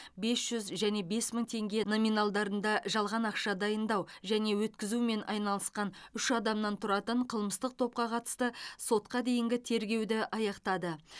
бес жүз және бес мың теңге номинальдарында жалған ақша дайындау және өткізумен айналысқан үш адамнан тұратын қылмыстық топқа қатысты сотқа дейінгі тергеуді аяқтады